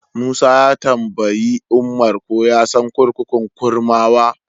Musa ya tambayi Umar ko ya san kurkukun Kurmawa.